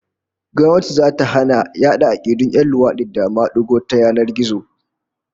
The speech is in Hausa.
Gwamnati zata hana yada 'akidun 'yan luwadi da madigo ta yanar gizo